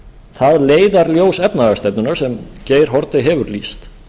það leiðarljós efnahagsstefnunnar sem geir haarde hefur lýst